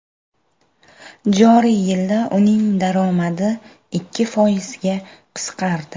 Joriy yilda uning daromadi ikki foizga qisqardi.